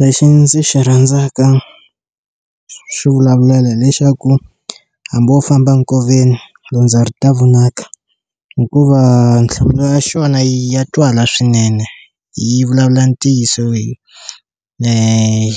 Lexi ndzi xi rhandzaka swi vulavulela hi lexaku hambi wo famba nkoveni dyondza ri ta vonaka hikuva nhlamulo ya xona ya twala swinene yi vulavula ntiyiso